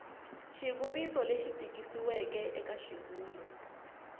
xivuriso lexi tikisiweke eka xivulwa